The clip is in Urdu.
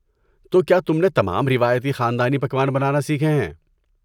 تو کیا تم نے تمام روایتی خاندانی پکوان بنانا سیکھے ہیں؟